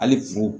Hali furu